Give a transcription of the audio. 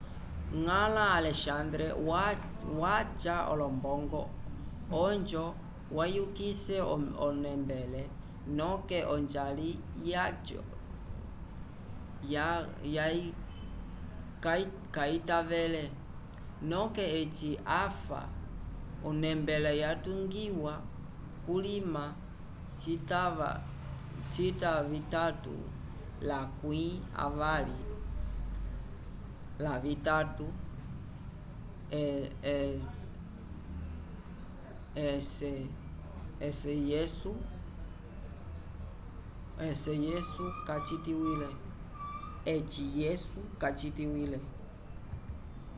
ngãla alexandre wacha olombongo ojo vayugise o nembele noke ojali jacho kaytavele noke eci afa o nembele yatugiwa kulima cita vitatu lakwi avali lavitatu ec yesu kacitikwile